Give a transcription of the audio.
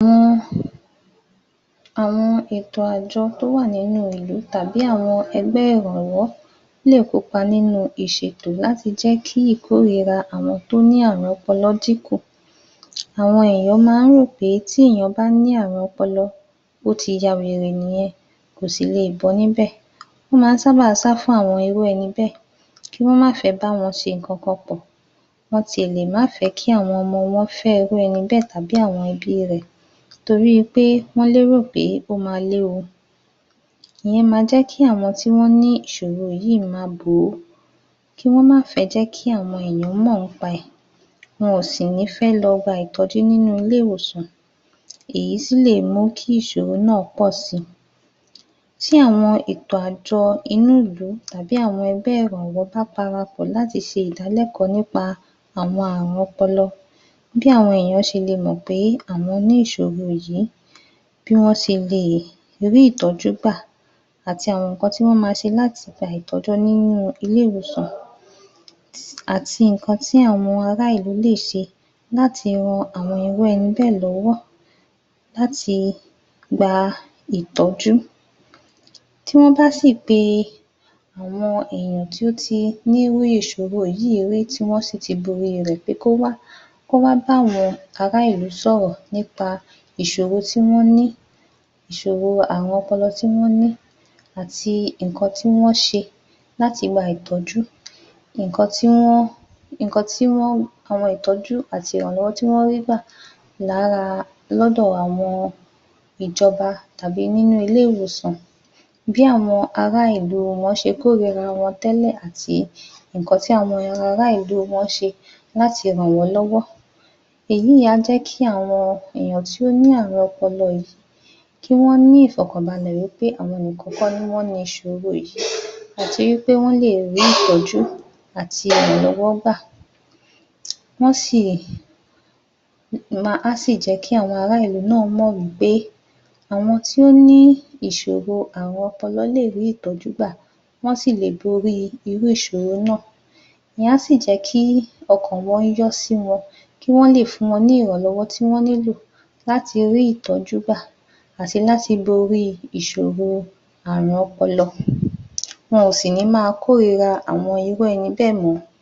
um Àwọn ètò àjọ tó wà nínú ìlú tàbí àwọn ẹgbẹ́ ìrànwọ́ lè kópa nínú ìṣètò láti jẹ́ kí ìkórira àwọn tó ní àrùn ọpọlọ dínkù. Àwọn èèyan ma ń rò pé tí èèyàn bá ní àrùn ọpọlọ ó ti ya wèrè nìyẹn, kò sì leè bọ́ níbẹ̀. Wọ́n ma ń sáábà sá fún àwọn irú ẹni bẹ́ẹ̀, kí wọ́n má fẹ́ bá wọn ṣe nǹkan kan pọ̀. Wọ́n ti ẹ̀ lè má fẹ́ kí àwọn ọmọ wọ́n fẹ́ irú ẹni bẹ́ẹ̀ tàbí àwọn ẹbí rẹ̀. Torí i pé wọ́n lérò pé ó ma léwu. Ìyẹn ma jẹ́ kí àwọn tí wọ́n ní ìṣòro yíì ma bò ó, kí wọ́n má fẹ́ jẹ́ kí àwọn èèyàn mọ̀ ńpa ẹ̀. Wọn ò sì ní fẹ́ lọ gba ìtọ́jú nínú ilé-ìwòsàn. Èyí sì lè mú kí ìṣòro náà pọ̀ si. Tí àwọn ètò àjọ inú ìlú tàbí àwọn ẹgbẹ́ ìrànwọ́ bá parapọ̀ láti ṣe ìdálẹ́kọ̀ọ́ nípa àwọn àrùn ọpọlọ, bí àwọn èèyàn ṣe le mọ̀ bí àwọn ní ìṣòro yìí, bí wọ́n ṣe leè rí ìtọ́jú gbà, àti àwọn nǹkan tí wọ́n ma ṣe láti gba ìtọ́jú nínú ilé-ìwòsàn, àti nǹkan tí àwọn ará ìlú lè ṣe láti ran àwọn irú ẹni bẹ́ẹ̀ lọ́wọ́ láti gba ìtọ́jú. Tí wọ́n bá sì mọ àwọn èèyàn tí ó ti ní irú ìṣòro yìí rí tí wọ́n sì ti borí rẹ̀, pé kó wá, kó wá bá àwọn ará ìlú sọ̀rọ̀ nípa ìṣòro tí wọ́n ní, ìṣòro àrùn ọpọlọ tí wọ́n ní àti ǹkan tí wọ́n ṣe láti gba ìtọ̀jú. Nǹkan tí wọ́n, àwọn ìtọ́jú àti ìrànlọ́wọ́ tí wọ́n rí gbà lára lọ́dọ̀ àwọn ìjọba tàbí nínú ilé-ìwòsàn. Bí àwọn ará ìlú wọ́n ṣe kórira wọn tẹ́lẹ̀ àti nǹkan tí àwọn ará ìlú wọ́n ṣe láti ràn wọ́n lọ́wọ́. Èyíì á jẹ́ kí àwọn èèyàn tó ní àrùn ọpọlọ yìí kí wọ́n ní ìfọ̀kànbalẹ̀ wí pé àwọn nìkan kọ́ ni wọ́n ni ìṣòro yìí àti wí pé wọ́n lè rí ìtọ́jú àti ìrànlọ́wọ́ gbà. Á sì jẹ́ kí àwọn ará ìlú náà mọ̀ wí pé àwọn tí ó ní ìṣòro àrùn ọpọlọ lè rí ìtọ́jú gbà, wọ́n sì lè borí irú ìṣòro náà. Ìyẹn á sì jẹ́ kí ọkàn wọ́n yọ sí wọn, kí wọ́n lè fún wọn ní ìrànlọ́wọ́ tí wọ́n nílò láti rí ìtọ́jú gbà àti láti borí ìṣòro àrùn ọpọlọ. Wọn ò sì ní máa kórira àwọn irú ẹni bẹ́ẹ̀ mọ́.